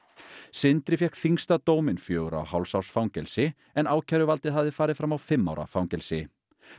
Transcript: sindri fékk þyngsta dóminn fjögurra og hálfs árs fangelsi en ákæruvaldið hafði farið fram á fimm ára fangelsi